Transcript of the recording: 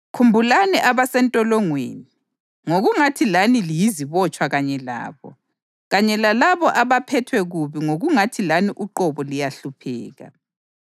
Khumbulani abasentolongweni ngokungathi lani liyizibotshwa kanye labo, kanye lalabo abaphethwe kubi ngokungathi lani uqobo liyahlupheka.